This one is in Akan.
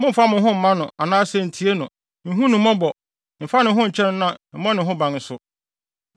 mommfa wo ho mma no anaasɛ ntie no. Nhu no mmɔbɔ. Mfa ne ho nkyɛ no na mmɔ ne ho ban nso.